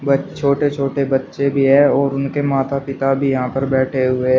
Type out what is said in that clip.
छोटे छोटे बच्चे भी हैं और उनके माता पिता भी यहां पर बैठे हुए--